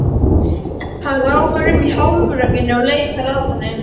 Hann ráfar um í hálfrökkrinu og leitar að honum.